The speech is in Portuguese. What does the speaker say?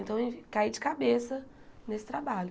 Então, eu caí de cabeça nesse trabalho.